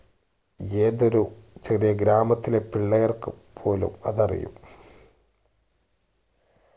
ഏതൊരു ചെറിയ ഒരു ഗ്രാമത്തിലെ പിള്ളേർക്കു പോലും അതറിയും